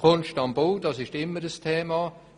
Kunst am Bau: Das ist immer ein Thema.